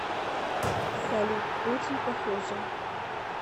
салют очень похоже